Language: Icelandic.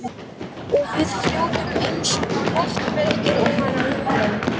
Og við fljótum einsog loftbelgir ofan á honum.